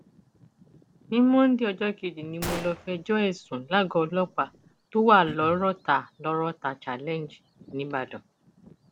ní monde ọjọ kejì ni mo lọọ fẹjọ ẹ sùn lágọọ ọlọpàá tó wà lọrọta lọrọta challenge nìbàdàn